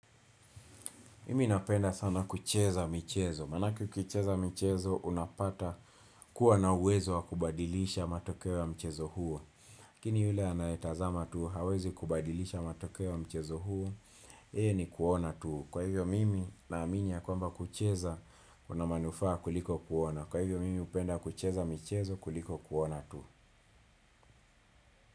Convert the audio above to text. Mimi napenda sana kucheza mchezo. Maanake ukicheza mchezo unapata kuwa na uwezo wa kubadilisha matokeo ya mchezo huo. Lakini yule anayetazama tuu, hawezi kubadilisha matokeo ya mchezo huo. Yeye ni kuona tuu. Kwa hivyo mimi naamini ya kwamba kucheza, kuna manufaa kuliko kuona. Kwa hivyo mimi hupenda kucheza mchezo kuliko kuona tuu.